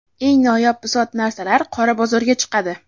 eng noyob bisot-narsalar qora bozorga chiqadi.